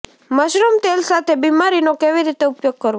mushroom તેલ સાથે બીમારીનો કેવી રીતે ઉપયોગ કરવો